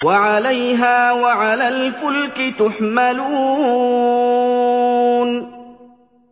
وَعَلَيْهَا وَعَلَى الْفُلْكِ تُحْمَلُونَ